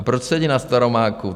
A proč sedí na Staromáku?